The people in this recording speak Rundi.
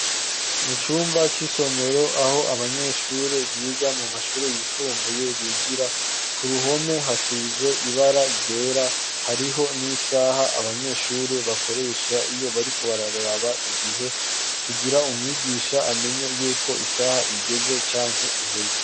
mu cumba c'isomero aho abanyeshuri biga mu mashuri yisumbuye bigira , ku ruhome hasize ibara ryera , hariho n'isaha abanyeshuri bakoresha iyo bariko bararaba igihe kugira umwigisha amenye yuko isaha igeze canke iheze.